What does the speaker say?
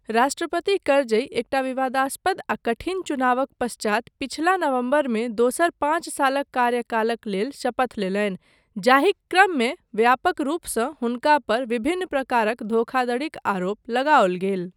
राष्ट्रपति करजई एकटा विवादास्पद आ कठिन चुनावक पश्चात पछिला नवम्बरमे दोसर पाँच सालक कार्यकालक लेल शपथ लेलनि जाहिक क्रममे व्यापक रूपसँ हुनका पर विभिन्न प्रकारक धोखाधड़ीक आरोप लगाओल गेल।